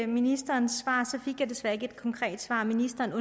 ministerens svar fik jeg desværre ikke et konkret svar ministeren